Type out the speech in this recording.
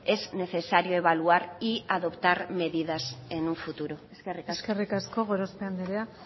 es necesario evaluar y adoptar medidas en un futuro eskerrik asko eskerrik asko gorospe andrea